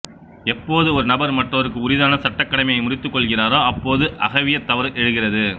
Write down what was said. எப்போது ஒரு நபர் மற்றவருக்கு உரிதான சட்டக் கடமையை முறித்துக் கொள்கிறாரோ அப்போது அகவியத் தவறு எழுகிறது